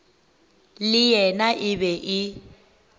le yena e be e